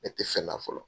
Ne tɛ fɛn na fɔlɔ